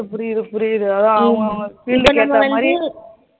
புரியுது புரியுது ஆஹ்